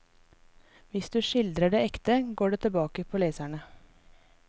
Hvis du skildrer det ekte, går det tilbake på leserne.